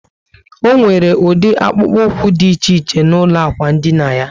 O nwere udi akpukpu úkwú dị iche iche n'ulo ikwụ dina yá